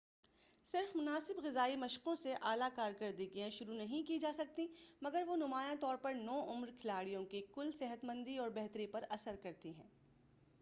صرف مناسب غذائی مشقوں سے اعلیٰ کارکردگیاں شروع نہیں کی جاسکتیں مگر وہ نمایاں طور پر نوعُمر کھلاڑیوں کی کُل صحتمندی اور بہتری پر اثرکرتی ہیں